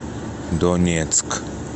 донецк